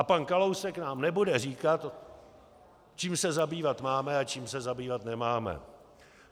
A pan Kalousek nám nebude říkat, čím se zabývat máme a čím se zabývat nemáme."